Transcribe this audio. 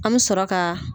An bɛ sɔrɔ ka